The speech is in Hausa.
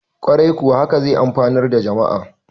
kwarai kuwa haka zai amfanar da jama`a